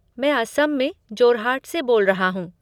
मैं असम में जोरहाट से बोल रहा हूँ।